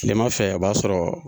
Tile ma fɛ a b'a sɔrɔ